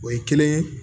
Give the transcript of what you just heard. O ye kelen ye